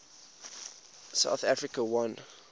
south africa won